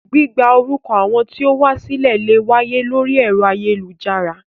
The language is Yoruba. Gbígba orúkọ àwọn tí ó wá sílẹ̀ lè wáyé lórí ẹ̀rọ ayélujára